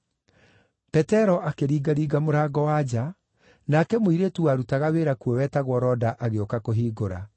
Petero akĩringaringa mũrango wa nja, nake mũirĩtu warutaga wĩra kuo wetagwo Roda agĩũka kũhingũra.